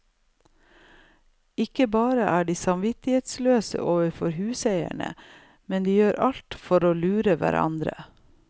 Ikke bare er de samvittighetsløse overfor huseierne, men de gjør alt for å lure hverandre.